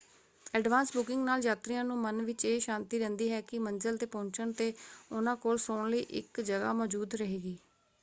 Advance booking ਨਾਲ ਯਾਤਰੀਆਂ ਨੂੰ ਮਨ ਵਿੱਚ ਇਹ ਸ਼ਾਂਤੀ ਰਹਿੰਦੀ ਹੈ ਕਿ ਮੰਜ਼ਲ ‘ਤੇ ਪਹੁੰਚਣ ‘ਤੇ ਉਹਨਾਂ ਕੋਲ ਸੌਣ ਲਈ ਇੱਕ ਜਗ੍ਹਾ ਮੌਜੂਦ ਰਹੇਗੀ।